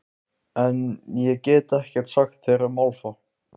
En- ég get ekkert sagt þér um álfa.